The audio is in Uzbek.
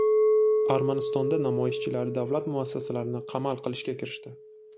Armanistonda namoyishchilar davlat muassasalarini qamal qilishga kirishdi.